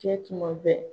Kɛ tuma bɛɛ